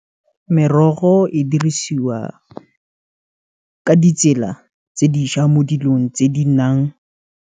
Merogo e dirisiwa ka ditsela tse diša mo dilong tse di nang.